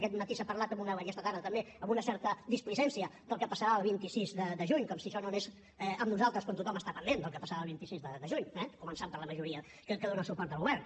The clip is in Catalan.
aquest matí s’ha parlat i aquesta tarda també amb una certa displicència del que passarà el vint sis de juny com si això no anés amb nosaltres quan tothom està pendent del que passarà el vint sis de juny eh començant per la majoria que dóna suport al govern